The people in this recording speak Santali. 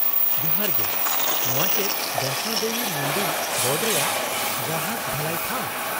-ᱡᱚᱦᱟᱨ ᱜᱮ, ᱱᱚᱶᱟ ᱪᱮᱫ ᱵᱚᱭᱥᱱᱳ ᱫᱮᱵᱤ ᱢᱩᱱᱫᱤᱞ ᱵᱳᱨᱰ ᱨᱮᱭᱟᱜ ᱜᱽᱨᱟᱦᱚᱠ ᱵᱷᱟᱹᱞᱟᱹᱭ ᱴᱷᱟᱶ ?